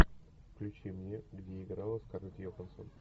включи мне где играла скарлетт йохансон